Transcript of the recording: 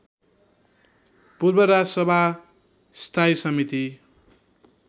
पूर्व राजसभा स्थायी समिति